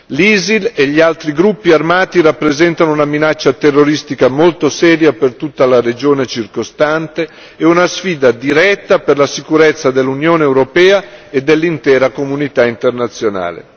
L'ISIL e gli altri gruppi armati rappresentano una minaccia terroristica molto seria per tutta la regione circostante e una sfida diretta per la sicurezza dell'Unione europea e dell'intera comunità internazionale.